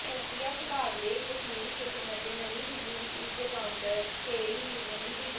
ਖੁਫੀਆ ਵਿਭਾਗ ਦੇ ਕਸ਼ਮੀਰ ਸਟੇਸ਼ਨ ਅਤੇ ਨਵੀਂ ਦਿਲੀ ਵਿਚ ਇਸ ਦੀ ਕਾਉਂਟਰ ਟੇਰੇਰਿਜ਼ਮ ਡਿਵੀਜ਼ਨ